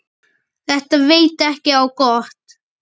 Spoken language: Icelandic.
Þetta veit ekki á gott.